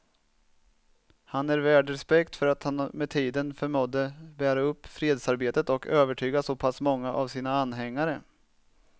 Han är värd respekt för att han med tiden förmådde bära upp fredsarbetet och övertyga så pass många av sina anhängare.